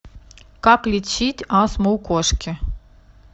как лечить астму у кошки